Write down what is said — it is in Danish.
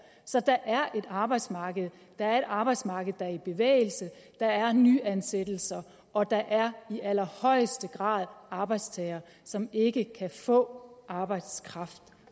så der er et arbejdsmarked der er et arbejdsmarked der er i bevægelse der er nyeansættelser og der er i allerhøjeste grad arbejdstagere som ikke kan få arbejdskraft